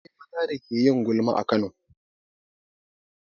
Akwai maza da ke yin gulma a Kano.